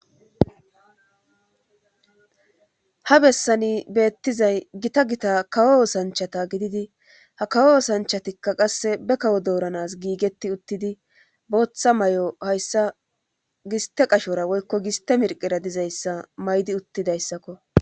Ha bessani beettizay gita gita kawo osanchata gididi ha kawo osanchatikka qasse be kawo dooranas giigetti uttidi booththa may'o hayssa giste qashora woykko giste mirqera dizayssa maydi uttidayssakko.